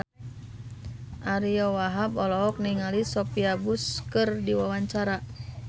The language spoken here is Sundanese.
Ariyo Wahab olohok ningali Sophia Bush keur diwawancara